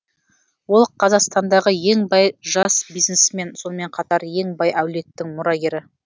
ол қазақстандағы ең бай жас бизнесмен сонымен қатар ең бай әулеттің мұрагері